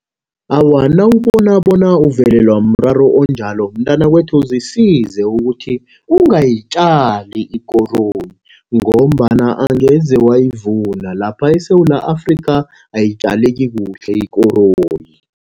Awa, nawubona bona uvelelwa mraro onjalo, mntwanakwethu zisize ukuthi ungayitjali ikoroyi, ngombana angeze wayivuna. Lapha eSewula Afrika, ayitjaleki kuhle ikoroyi.